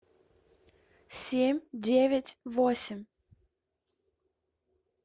семь девять восемь